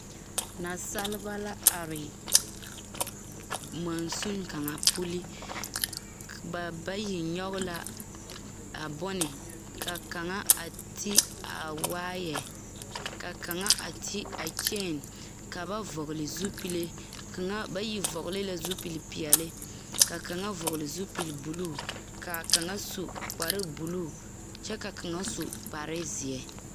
Nasaleba are mɔnsune kaŋa puli ba bayi nyoge la a bone ka kaŋa a te a waayɛ ka kaŋa a te a kyeen ka ba vɔgle zupile kaŋa bayi vɔgle la zupile peɛɛli ka kaŋa vɔgle zupilbluu kaa kaŋa su kparebluu kyɛ ka kaŋa su kparezeɛ.